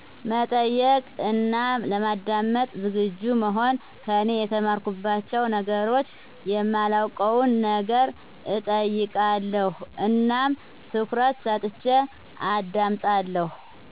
መጠየቅ እና ለማዳመጥ ዘግጁ መሆን ከኔ የተማርኩባቸው ነገሮች የማላውቀው ነገር እጠይቃለሁ እናም ትኩረት ሰጥቸ አዳምጣለሁ